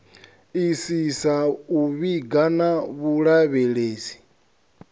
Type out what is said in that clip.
isisa u vhiga na vhulavhelesi